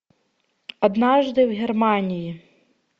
однажды в германии